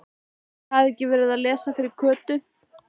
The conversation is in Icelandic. Ætli ég hafi ekki verið að lesa fyrir Kötu.